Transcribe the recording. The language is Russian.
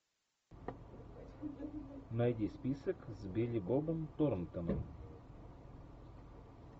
найди список с билли бобом торнтоном